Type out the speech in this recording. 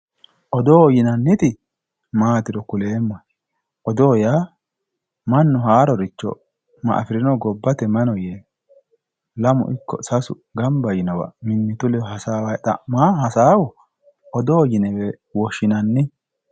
odo yinanniti maatiro kuleemmohe odoo yaa mannu haaroricho ma afirino gobbate mayi no yee lamu ikko sasu ikko gamba yiinowa mimmitu ledo xa'mayi hasaawayo hasaawa odoote yinewe woshshinanni